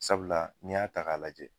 Sabula n'i y'a ta k'a lajɛ